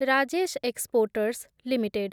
Rajesh exports limited